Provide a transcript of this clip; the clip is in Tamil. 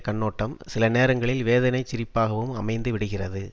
கண்ணோட்டம் சில நேரங்களில் வேதனைச் சிரிப்பாகவும் அமைந்து விடுகிறது